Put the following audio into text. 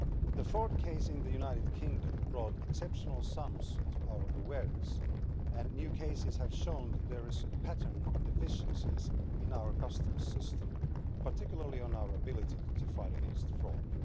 The fraud case in the United Kingdom brought exceptional sums to our awareness, and new cases have shown that there is a pattern of deficiencies in our customs system, particularly in our ability to fight against fraud.